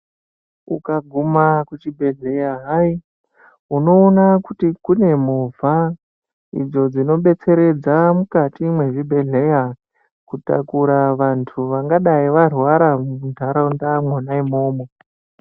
Ukaguma kuchibhedhlera hai unoona kuti kune movha idzo dzinobesteredza mukati mwezvibhedhlera kutakura vantu vangadai varwara muntaraunda mwona umomo.